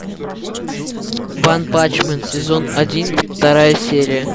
ванпанчмен сезон один вторая серия